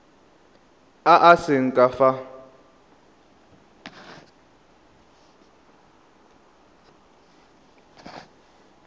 a a seng ka fa